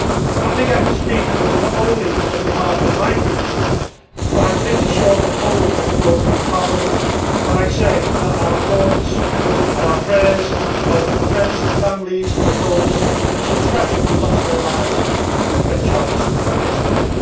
I think I speak not only on behalf of my group but I am pretty sure the whole of the European Parliament when I say that our thoughts and our prayers are with the friends and families of those who so tragically lost their lives in the French Alps yesterday.